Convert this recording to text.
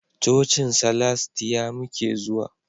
Cocin salastiya muke zuwa